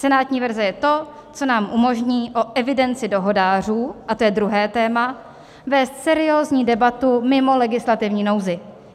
Senátní verze je to, co nám umožní o evidenci dohodářů - a to je druhé téma - vést seriózní debatu mimo legislativní nouzi.